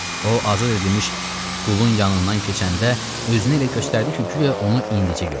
O azad edilmiş qulun yanından keçəndə özünü elə göstərdi ki, guya onu indicə görür.